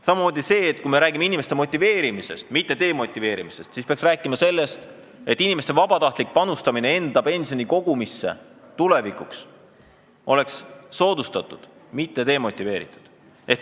Samamoodi, kui me räägime inimeste motiveerimisest, mitte demotiveerimisest, peaks rääkima sellest, et tuleb soodustada inimeste vabatahtlikku panustamist enda pensioni kogumisse, mitte inimesi demotiveerima.